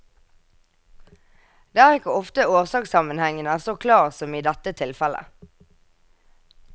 Det er ikke ofte årsakssammenhengen er så klar som i dette tilfelle.